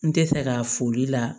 N tɛ fɛ ka foli la